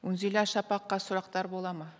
үнзила шапаққа сұрақтар болады ма